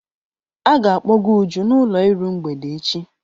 A ga-akpọga Uju n'ụlọ iru mgbede echi.